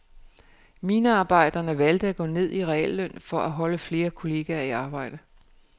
Minearbejderne valgte at gå ned i realløn for at holde flere kolleger i arbejde.